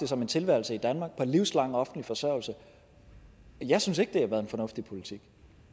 som en tilværelse i danmark på livslang offentlig forsørgelse jeg synes ikke det har været en fornuftig politik